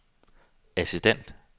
assistent